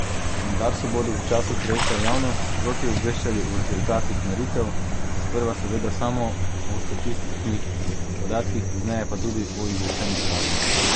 Na Darsu bodo v času projekta javnost sproti obveščali o rezultatih meritev, sprva seveda samo o statističnih podatkih, pozneje pa tudi o izrečenih kaznih.